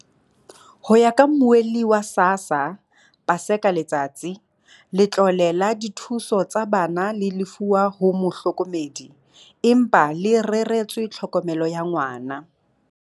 Ho ya ka Mmuelli wa SASSA, Paseka Letsatsi, letlole la dithuso tsa bana le lefuwa ho mohlokomedi, empa le reretswe tlhokomelo ya ngwana.